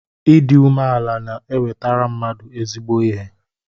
Ịdị umeala na-enwetara mmadụ ezigbo ihe.